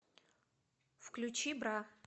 включи бра